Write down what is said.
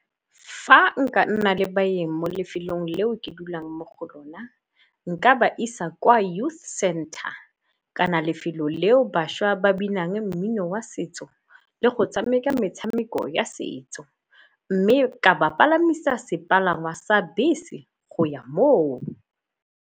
Fa nka nna le baeng mo lefelong leo ke dulang mo go lona, nka ba isa kwa youth center kana lefelo leo bašwa ba binang mmino wa setso le go tshameka metshameko ya setso. Mme ka ba palamisa sepalangwa sa bese go ya moo.